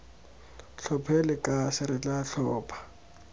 tlhophe lekase re tla tlhopha